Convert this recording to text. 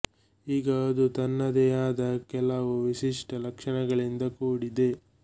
ಈಗ ಅದು ತನ್ನದೇ ಆದ ಕೆಲವು ವಿಶಿಷ್ಟ ಲಕ್ಷಣಗಳಿಂದ ಕೂಡಿದೆ